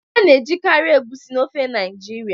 A na-ejikarị Egusi na ofe Naijiria.